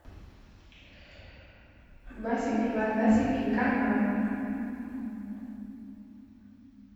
басики мордасики канал